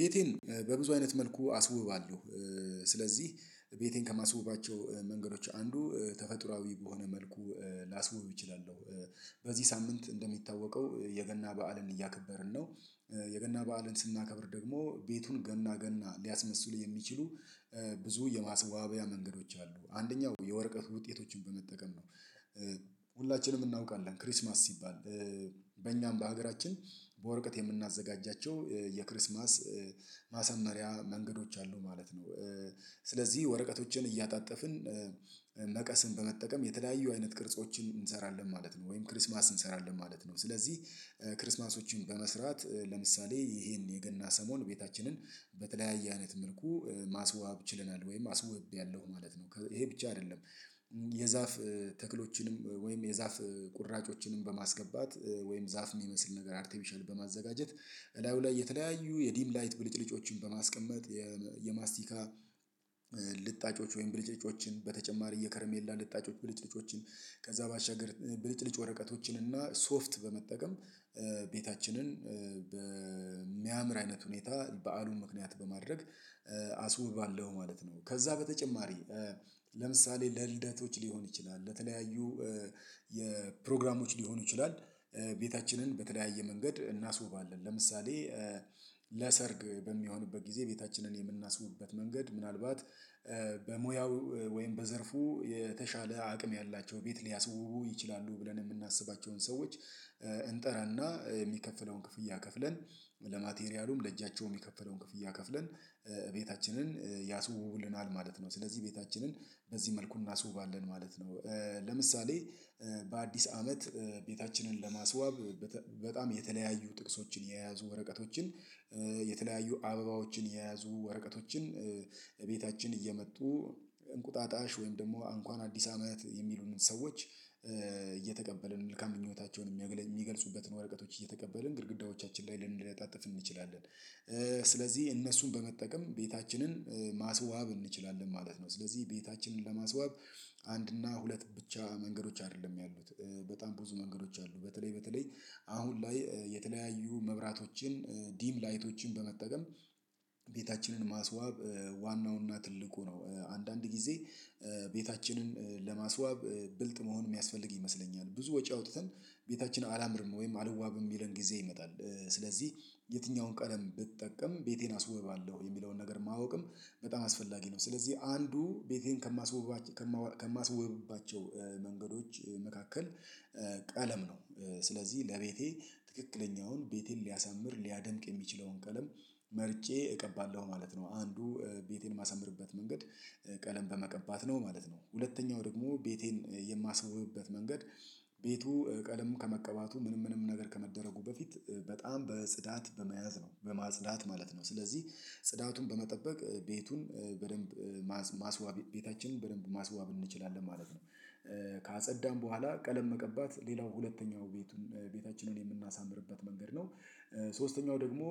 ቤቴን በብዙ አይነት መልኩ አስውባለሁ። ስለዚህ ቤቴን ከማስውባቸው መንገዶች አንዱ ተፈጥሮአዊ በሆነ መልኩ ላስውብ እችላለሁ። በዚህ ሳምንት እንደሚታወቀው የገና በዓልን እያከበርን ነው። የገና በዓልን ስናከብር ደግሞ ቤቱን ገና ገና ሊያስመስሉ የሚችሉ ብዙ የማስዋቢያ መንገዶች አሉ አንደኛው የወረቀት ውጤቶችን በመጠቀም ነው። ሁላችንም እናውቃለን ክሪስማስ ሲባል በእኛም በሀገራችን በወርቀት የምናዘጋጃቸው የክርስማስ ማሰመሪያ መንገዶች አሉ ማለት ነው። ስለዚህ ወረቀቶችን እያጣጠፍን መቀስን በመጠቀም የተለያዩ አይነት ቅርጾችን እንሰራለን ማለት ነው ወይም ክሪስማስ እንሰራለን ማለት ነው። ስለዚህ ክርስማሶችን በመስራት ለምሳሌ ይሄን የገና ሰሞን ቤታችንን በተለያየ አይነት መልኩ ማስዋብ ችለናል ወይም አስወብ ያለው ማለት ነው ይሄ ብቻ አይደለም። የዛፍ ተክሎችንም ወይም የዛፍ ቁራጮችንም በማስገባት ወይም ዛፍ የሚመስል ነገር አርቲፊሻል በማዘጋጀት በላዩ ላይ የተለያዩ የዲም ላይት ብልጭልጮችን በማስቀመጥ የማስቲካ ልጣጮች ወይም ብልጭልጮችን በተጨማሪ የከረሜላ ልጣጮች ብልጭልጮችን ከዛ ባሻገር ብልጭልጭ ወረቀቶችን እና ሶፍት በመጠቀም ቤታችንን በሚያምር አይነት ሁኔታ በዓሉን ምክንያት በማድረግ አስውባለሁ ማለት ነው። ከዛ በተጨማሪ ለምሳሌ ለልደቶች ሊሆን ይችላል ለተለያዩ የፕሮግራሞች ሊሆኑ ይችላል። ቤታችንን በተለያየ መንገድ እናስውባለን ለምሳሌ ለሰርግ በሚሆንበት ጊዜ ቤታችንን የምናስውብበት መንገድ ምናልባት በሙያው ወይም በዘርፉ የተሻለ አቅም ያላቸው ቤት ሊያስውቡ ይችላሉ ብለን የምናስባቸውን ሰዎች እንጠራና የሚከፍለውን ክፍያ ከፍለን ለማቴሪያሉም ለእጃቸውም የከፈለውን ክፍያ ከፍለን ቤታችንን ያስውቡልናል ማለት ነው። ስለዚህ ቤታችንን በዚህ መልኩ እናስውባለን ማለት ነው። ለምሳሌ በአዲስ አመት ቤታችንን ለማስዋብ በጣም የተለያዩ ጥቅሶችን የያዙ ወረቀቶችን የተለያዩ አበባዎችን የያዙ ወረቀቶችን ቤታችን እየመጡ እንቁጣጣሽ ወይም ደግሞ እንኳን አዲስ አመት የሚሉንን ሰዎች እየተቀበልን መልካም ምኛታቸውን የሚገልጹበትን ወረቀቶች እየተቀበልን ግድግዳዎቻችን ላይ ልንለጣጠፍ እንችላለን። ስለዚህ እነሱን በመጠቀም ቤታችንን ማስዋብ እንችላለን ማለት ነው። ስለዚህ ቤታችንን ለማስዋብ አንድ እና ሁለት ብቻ መንገዶች አይደለም ያሉት በጣም ብዙ መንገዶች አሉ። በተለይ በተለይ አሁን ላይ የተለያዩ መብራቶችን ዲም ላይቶችን በመጠቀም ቤታችንን ማስዋብ ዋናውና ትልቁ ነው። አንዳንድ ጊዜ ቤታችንን ለማስዋብ ብልጥ መሆን የሚያስፈልግ ይመስለኛል ብዙ ወጪ አውጥተን ቤታችን አላምርም ወይም አልዋብም የሚለን ጊዜ ይመጣል። ስለዚህ የትኛውን ቀለም ብጠቀም ቤቴን አስወባለሁ የሚለውን ነገር ማወቅም በጣም አስፈላጊ ነው። ስለዚህ አንዱ ቤቴን ከማስባቸው ከማስወባቸው መንገዶች መካከል ቀለም ነው። ስለዚህ ለቤቴ ትክክለኛውን ቤቴን ሊያሳምር ሊያደምቅ የሚችለውን ቀለም መርጬ እቀባለሁ ማለት ነው። አንዱ ቤቴን የማሳምርበት መንገድ ቀለም በመቀባት ነው ማለት ነው። ሁለተኛው ደግሞ ቤቴን የማስውብበት መንገድ ቤቱ ቀለም ከመቀባቱ ምንም ምንም ነገር ከመደረጉ በፊት በጽዳት በመያዝ ነው በማጽዳት ማለት ነው። ስለዚህ ጽዳቱን በመጠበቅ ቤቱን በደንብ ማስዋብ ቤታችንን በደንብ ማስዋብ እንችላለን ማለት ነው። ካጸዳን በኋላ ቀለም መቀባት ሌላው ሁለተኛው ቤቱን ቤታችንን የምናሳምርበት መንገድ ነው። ሶስተኛው ደግሞ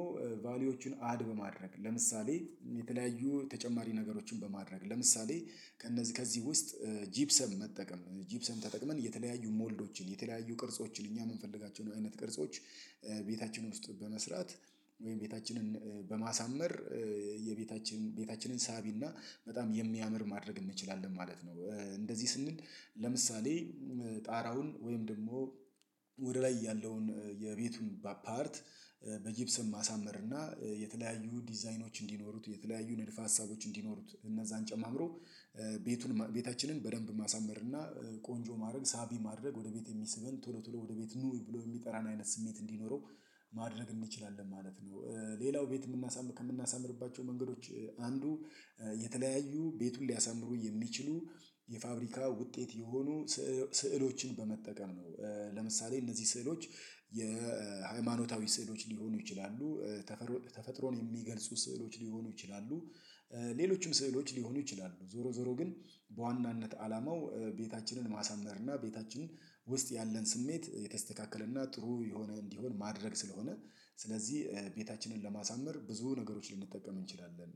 ቫልዩዎችን አድ በማድረግ ለምሳሌ የተለያዩ ተጨማሪ ነገሮችን በማድረግ ለምሳሌ ከእነዚህ ከዚህ ውስጥ ጂፕሰም መጠቀም ጂፕሰን ተጠቅመን የተለያዩ ሞልዶችን የተለያዩ ቅርጾችን እኛ የምንፈልጋቸው አይነት ቅርጾች ቤታችንን ውስጥ በመስራት ወይም ቤታችንን በማሳመር የቤታችን ቤታችንን ሳቢና በጣም የሚያምር ማድረግ እንችላለን ማለት ነው። እንደዚህ ስንል ለምሳሌ ጣራውን ወይም ደግሞ ወደ ላይ ያለውን የቤቱን አፓርት በጊብስም ማሳመር እና የተለያዩ ዲዛይኖች እንዲኖሩት የተለያዩ ንድፍ ሀሳቦች እንዲኖሩት እነዛን ጨማምሮ ቤቱን ቤታችንን በደንብ ማሳመር እና ቆንጆ ማድረግ ሳቢ ማድረግ ወደ ቤት የሚስበን ቶሎ ቶሎ ወደ ቤት ኑ ብሎ የሚጠራን አይነት ስሜት እንዲኖረው ማድረግ እንችላለን ማለት ነው። ሌላው ቤት የምናሳምር ከምናሳምርባቸው መንገዶች አንዱ የተለያዩ ቤቱን ሊያሳምሩ የሚችሉ የፋብሪካ ውጤት የሆኑ ስዕሎችን በመጠቀም ነው። ለምሳሌ እነዚህ ስዕሎች የሃይማኖታዊ ስዕሎች ሊሆኑ ይችላሉ ተፈጥሮ ተፈጥሮን የሚገልጹ ስዕሎች ሊሆኑ ይችላሉ። ሌሎችም ስዕሎች ሊሆኑ ይችላሉ ዞሮ ዞሮ ግን በዋናነት አላማው ቤታችንን ማሳመር እና ቤታችን ውስጥ ያለን ስሜት የተስተካከለ እና ጥሩ የሆነ እንዲሆን ማድረግ ስለሆነ ስለዚህ ቤታችንን ለማሳመር ብዙ ነገሮች ልንጠቀም እንችላለን።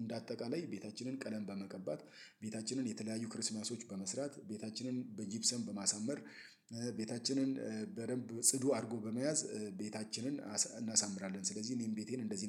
እንደ አጠቃላይ ቤታችንን ቀለም በመቀባት ቤታችንን የተለያዩ ክርስማሶች በመስራት ቤታችንን በጊብሰን በማሳመር ቤታችንን በደንብ ጽዱ አድርጎ በመያዝ ቤታችንን እናሳምራለን ስለዚህ እኔን ቤቴን እንደዚህ ነው